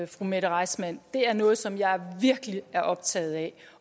fru mette reissmann er noget som jeg virkelig er optaget af